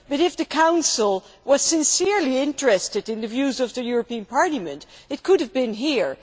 But if the Council were sincerely interested in the views of the European Parliament it could have been here.